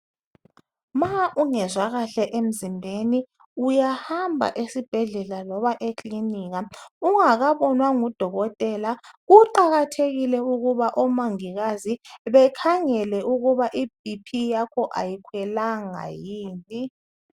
Ma ungezwa kakhe emzimbeni uyahamba esibhedlela loba ekilinikika ungakabonwa ngudokotela kuqakathekile ukuba omongikazi bekhangele ukuba iBP yakho ayikhwelanga yimpi